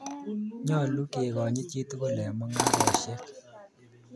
Nyalu kekonyit chi tukul eng' mung'arosyek